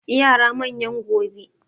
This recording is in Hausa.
Yara manyan gobe